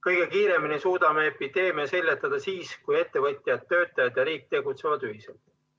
Kõige kiiremini suudame epideemia seljatada siis, kui ettevõtjad, töötajad ja riik tegutsevad ühiselt.